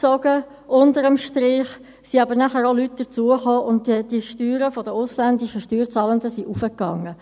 Es kamen dann aber auch Leute hinzu, und die Steuern der ausländischen Steuerzahlenden stiegen.